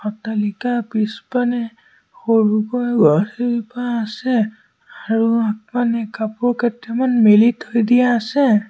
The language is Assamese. অট্টালিকা পিছফালে সৰুকৈ গছ এজোপা আছে আৰু আগফালে কাপোৰ কেটামান মেলি থৈ দিয়া আছে।